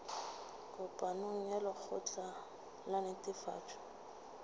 kopanong ya lekgotla la netefatšo